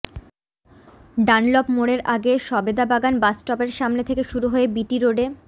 Dunlop মোড়ের আগে সবেদাবাগান বাসস্টপের সামনে থেকে শুরু হয়ে বি টি রোডে